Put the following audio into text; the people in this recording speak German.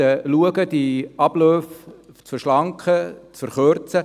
Sie will die Abläufe verschlanken, verkürzen.